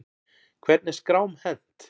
Hvernig er skrám hent?